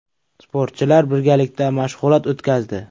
Sportchilar birgalikda mashg‘ulot o‘tkazdi.